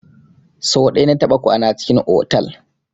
So ɗaya na taɓa kwana a cikin otal.